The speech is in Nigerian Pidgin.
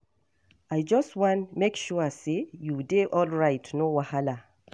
I just wan make sure say you dey alright, no wahala.